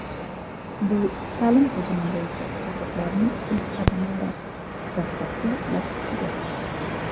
Bu ta’lim tizimi bo‘yicha islohotlarning ilk qadamlari, dastlabki bosqichidir.